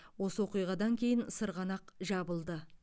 осы оқиғадан кейін сырғанақ жабылды